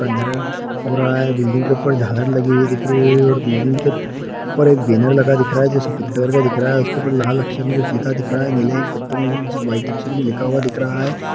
हो रहा है बिल्डिंग के ऊपर झालर लगी हुई दिख रही है और बिल्डिंग के ऊपर एक बैनर लगा दिख रहा है जो सफ़ेद कलर का दिख रहा है उसके ऊपर लाल अक्षर में कुछ लिखा दिख रहा है नीला एक वाइट अक्षर में लिखा हुआ दिख रहा है।